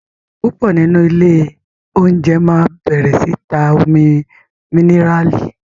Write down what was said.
púpọ nínú Ilé oúnjẹ má bẹrẹ sí tá Omi míníràlì.